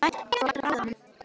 Þú ættir að bragða á honum